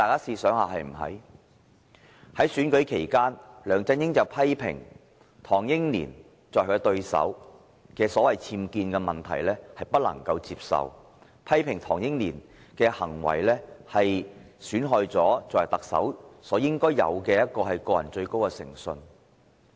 在選舉期間，梁振英批評他的對手唐英年的僭建問題不可接受，批評唐英年的行為損害了作為特首應有的個人最高誠信。